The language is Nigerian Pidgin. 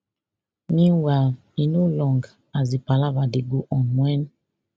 meanwhile e no long as di palava dey go on wen